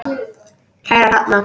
Kæra Hrefna,